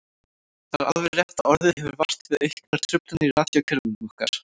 Það er alveg rétt að orðið hefur vart við auknar truflanir í radíókerfunum okkar.